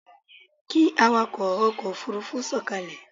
Kí awakọ̀ ọkọ̀ Òfurufú sọ̀kalẹ̀!